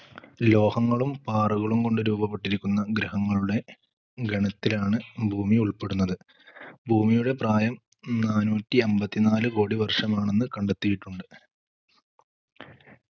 ലോഹങ്ങളും പാറകളും കൊണ്ട് രൂപപ്പെട്ടിരിക്കുന്ന ഗ്രഹങ്ങളുടെ ഗണത്തിലാണ് ഭൂമി ഉൾപ്പെടുന്നത്. ഭൂമിയുടെ പ്രായം നാനൂറ്റി അമ്പതിനാല് കോടി വർഷമാണെന്ന് കണ്ടെത്തിയിട്ടുണ്ട്